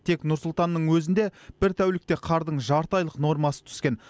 тек нұр сұлтанның өзінде бір тәулікте қардың жарты айлық нормасы түскен